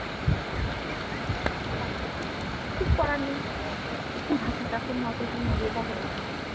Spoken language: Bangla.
কিছু করার নেই কি ভাগ্গি কাকুর মতেই বিয়েটা হয়ে গেলো